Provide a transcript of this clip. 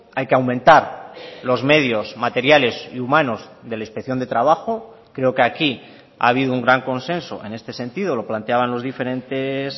hay que aumentar los medios materiales y humanos de la inspección de trabajo creo que aquí ha habido un gran consenso en este sentido lo planteaban los diferentes